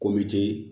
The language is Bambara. Ko bɛ